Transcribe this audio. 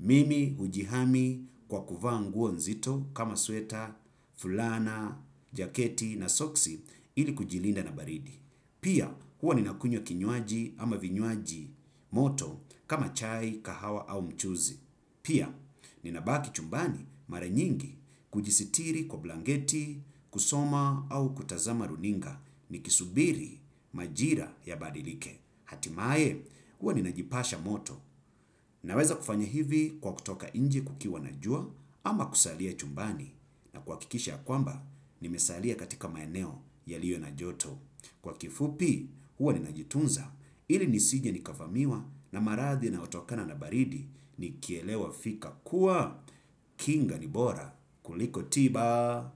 Mimi hujihami kwa kuvaa nguo nzito kama sweta, fulana, jaketi na soksi ili kujilinda na baridi. Pia huwa ninakunywa kinywaji ama vinywaji moto kama chai, kahawa au mchuzi. Pia ninabaki chumbani mara nyingi kujisitiri kwa blanketi, kusoma au kutazama runinga nikisubiri majira yabadilike. Hatimae, huwa ninajipasha moto. Naweza kufanya hivi kwa kutoka inje kukiwa na jua ama kusalia chumbani na kuhakikisha kwamba, nimesalia katika maeneo yalio na joto. Kwa kifupi, huwa ninajitunza ili nisije nikafamiwa na marathi yanaotokana na baridi nikielewa fika kuwa. Kinga ni bora kuliko tiba.